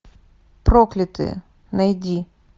проклятые найди